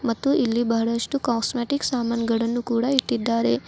ಮತ್ತು ಇಲ್ಲಿ ಬಹಳಷ್ಟು ಕೋಸ್ಮೆಟಿಕ್ಸ ಸಾಮಾನಗಳನ್ನು ಕೂಡ ಇಟ್ಟಿದ್ದಾರೆ.